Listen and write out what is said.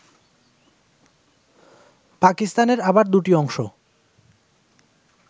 পাকিস্তানের আবার দুটি অংশ